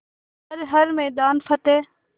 कर हर मैदान फ़तेह